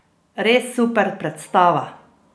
Res super predstava!